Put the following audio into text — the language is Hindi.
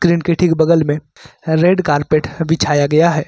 स्क्रीन के ठीक बगल में रेड कारपेट बिछाया गया है।